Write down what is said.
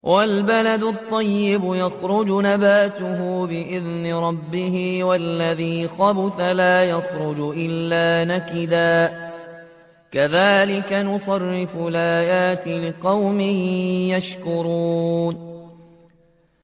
وَالْبَلَدُ الطَّيِّبُ يَخْرُجُ نَبَاتُهُ بِإِذْنِ رَبِّهِ ۖ وَالَّذِي خَبُثَ لَا يَخْرُجُ إِلَّا نَكِدًا ۚ كَذَٰلِكَ نُصَرِّفُ الْآيَاتِ لِقَوْمٍ يَشْكُرُونَ